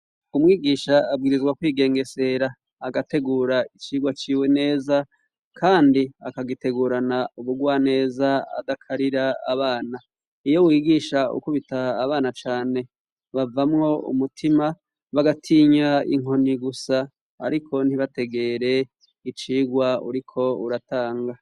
Umwigisha abwirizwa kwigengesera agategura icigwa ciwe neza kandi akagitegurana ubugwa neza adakarira abana iyo umwigisha akubita abana cane, bavamwo umutima bagatinya inkoni gusa ariko ntibategere icirwa uriko uratanga.